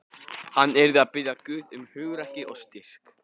Hann yrði að biðja Guð um hugrekki og styrk.